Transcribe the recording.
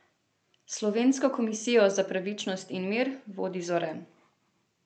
Slovensko komisijo za pravičnost in mir vodi Zore.